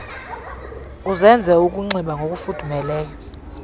uzenze ukunxiba ngokufudumeleyo